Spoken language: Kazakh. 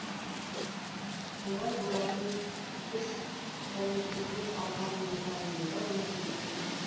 олай болатыны біз тәуелсіздік алғанымызға енді ғана отыз жыл